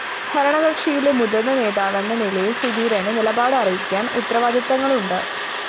ഭരണകക്ഷിയിലെ മുതിര്‍ന്ന നേതാവെന്ന നിലയില്‍ സുധീരന് നിലപാട് അറിയിക്കാന്‍ ഉത്തരവാദിത്തങ്ങളുണ്ട്